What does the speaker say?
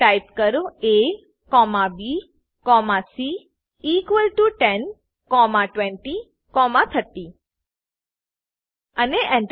type કરો A comma B comma C equal to 10 comma 20 comma 30 અને Enter